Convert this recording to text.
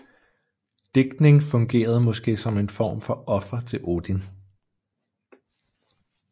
Digtning fungerede måske som en form for offer til Odin